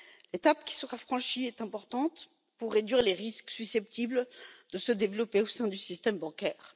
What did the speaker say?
L'étape qui sera franchie est importante pour réduire les risques susceptibles de se développer au sein du système bancaire.